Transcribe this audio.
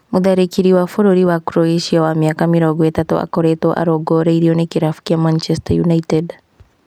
Mũtharĩkĩri wa bũrũri wa Croatia wa mĩaka mĩrongo ĩtatũ akoretwo arongoreirio ni kĩrabu kĩa Manchester United